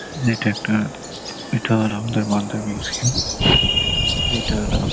এটা একটা এটা হল আমাদের মালদার মিউসিয়াম যেটা হল--